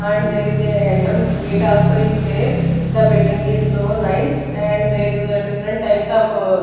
And there is a entrance gate also is there the building is so nice and there is a different types of --